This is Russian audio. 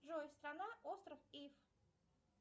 джой страна остров иф